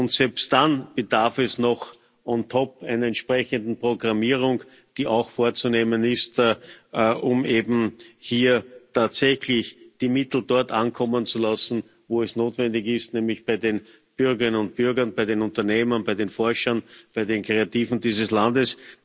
Und selbst dann bedarf es noch on top einer entsprechenden Programmierung, die auch vorzunehmen ist, um eben hier tatsächlich die Mittel dort ankommen zu lassen, wo es notwendig ist, nämlich bei den Bürgerinnen und Bürgern, bei den Unternehmern, bei den Forschern, bei den Kreativen dieses Landes.